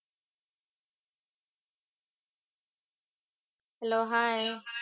Hello hi.